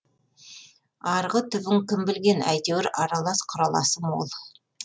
арғы түбін кім білген әйтеуір аралас құраласы мол